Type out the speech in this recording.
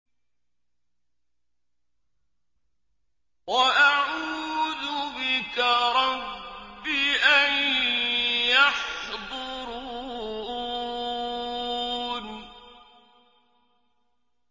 وَأَعُوذُ بِكَ رَبِّ أَن يَحْضُرُونِ